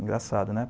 Engraçado, né?